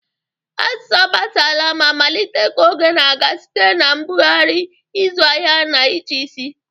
Asụsụ agbasala ma malite ka oge na-aga site na mbugharị, ịzụ ahịa, na ịchịisi